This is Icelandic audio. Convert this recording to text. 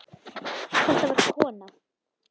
Þetta var kona.